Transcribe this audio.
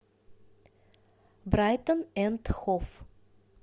брайтон энд хов